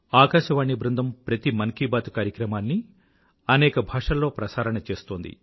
ఆకాశవాణి బృందం ప్రతి మన్ కీ బాత్ కార్యక్రమాన్నీ అనేక భాషల్లో ప్రసారణ చేస్తోంది